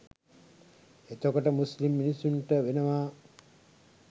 එතකොට මුස්ලිම් මිනිස්සුන්ට වෙනවා